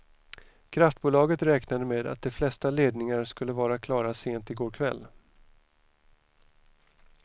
Kraftbolaget räknade med att de flesta ledningar skulle vara klara sent i går kväll.